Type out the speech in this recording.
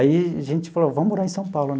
Aí a gente falou, vamos morar em São Paulo.